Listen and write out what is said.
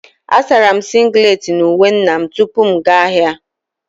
A sara m singlet na uwe nna m tupu m aga ahịa